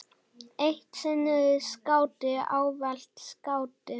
Eitt sinn skáti, ávallt skáti.